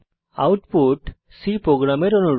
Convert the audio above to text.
output C প্রোগ্রামের অনুরূপ